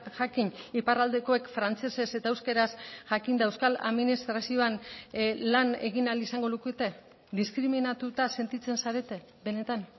jakin iparraldekoek frantsesez eta euskaraz jakinda euskal administrazioan lan egin ahal izango lukete diskriminatuta sentitzen zarete benetan